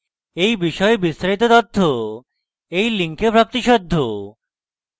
এই বিষয়ে বিস্তারিত তথ্য এই link প্রাপ্তিসাধ্য